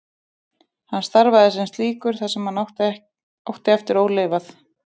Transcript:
Hann starfaði sem slíkur það sem hann átti eftir ólifað.